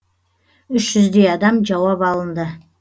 үш жүздей адам жауап алынды